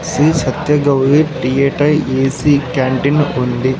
Shri Satya Gauri A C canteen ఉంది.